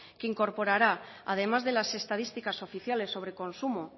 que incorporará además de las estadísticas oficiales sobre consumo